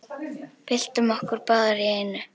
Byltum okkur báðar í einu.